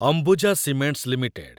Ambuja cements limited